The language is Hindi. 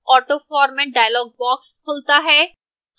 autoformat dialog box खुलता है